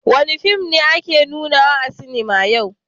Wani fim ne ake nuna a sinema a yau?